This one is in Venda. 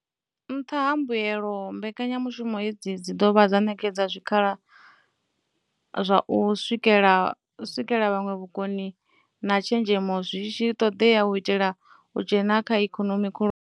Nṱha ha mbuelo, mbekanya mushumo hedzi dzi ḓo vha ṋetshedza zwikhala zwa u swikela vhuṅwe vhukoni na tshenzhemo zwi ṱoḓeaho u itela u dzhena kha ikonomi khulwane.